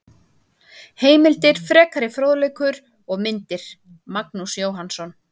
Heimildir, frekari fróðleikur og myndir: Magnús Jóhannsson.